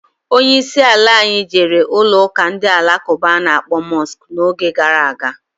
Onye isi ala anyị jere ụlọụka ndị Alakụba a na-akpọ Mọsk n'oge gara aga.